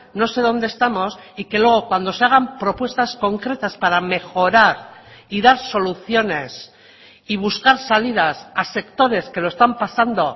no sé donde estamos y que luego cuando se hagan propuestas concretas para mejorar y dar soluciones y buscar salidas a sectores que lo están pasando